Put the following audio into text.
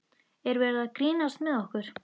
Er verið að grínast með okkur?